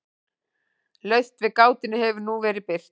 Lausn við gátunni hefur nú verið birt hér.